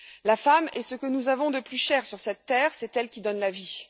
La femme est ce que nous avons de plus cher sur cette terre c'est elle qui donne la vie.